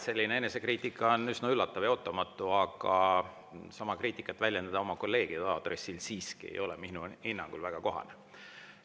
Selline enesekriitika on üsna üllatav ja ootamatu, aga sama kriitikat oma kolleegide aadressil väljendada ei ole minu hinnangul siiski väga kohane.